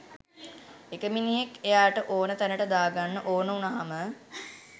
එක මිනිහෙක් එයාට ඕන තැනට දාගන්න ඕන උනාම